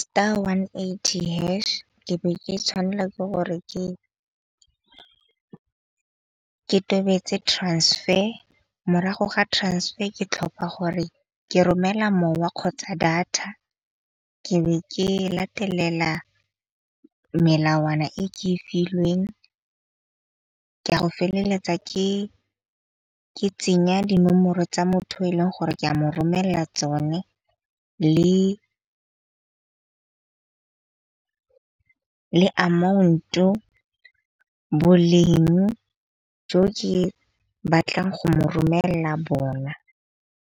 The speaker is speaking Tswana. star one eighty hash ke be ke tshwanela ke gore ke tobetsa transfer. Morago ga transfer ke tlhopa gore ke romela mowa kgotsa data, ke be ke latelela melawana e ke e filweng ka go feleletsa ke tsenya dinomoro tsa motho e leng gore ke a mo romella tsone le amount-o boleng jo ke batlang go mo romella bona.